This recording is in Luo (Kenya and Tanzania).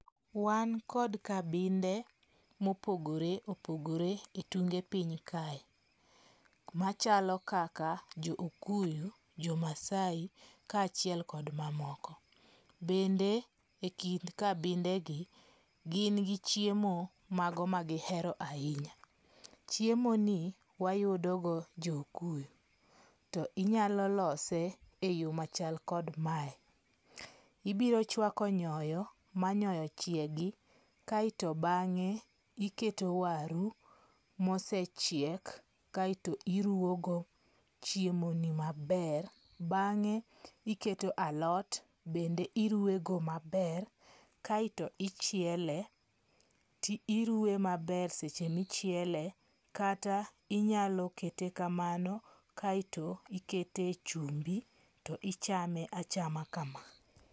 Wan kod kabinde mopogore opogore etunge piny kae. Machalo kaka jo okuyu, jo maasai ka achiel kod mamoko. Bende ikind kabinde gi gin gi chiemo mago ma gihero ahinya. Chiemo ni wayudo go jo okuyu. To inyalo lose e yo machal kod mae. Ibiro chwako nyoyo ma nyoyo chiegi kaeto bang'e iketo waru mosechiek kaeto iruwogo chiemo ni maber. Bang'e iketo alot bende iruwego maber. Kaeto ichiele. Ti iruwe maber seche michiele. Kata inyalo kete kamano kaeto ikete chumbu to ichame achama kama.